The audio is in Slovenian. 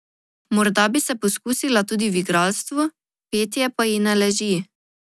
Morda bi se poskusila tudi v igralstvu, petje pa ji ne leži.